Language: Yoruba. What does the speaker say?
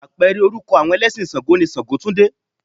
Apẹ̀rẹ̀ orúkọ àwọn ẹlẹ́sìn ṣàǹgó ni ṣàǹgótúndé.